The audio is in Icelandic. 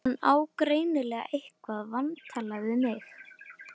Hann á greinilega eitthvað vantalað við mig.